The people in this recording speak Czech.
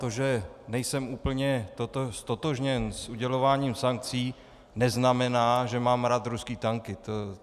To, že nejsem úplně ztotožněn s udělováním sankcí, neznamená, že mám rád ruské tanky.